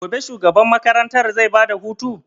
Gobe shugaban makaranta zai ba da hutu?